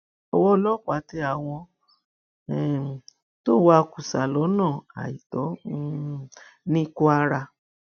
owó ọlọpàá tẹ àwọn um tó ń wa kùsà lọnà àìtọ um ní kwara